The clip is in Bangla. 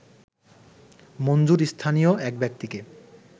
মঞ্জুর স্থানীয় এক ব্যক্তিকে